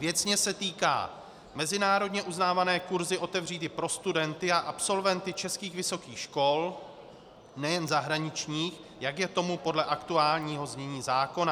Věcně se týká - mezinárodně uznávané kurzy otevřít i pro studenty a absolventy českých vysokých škol, nejen zahraničních, jak je tomu podle aktuálního znění zákona.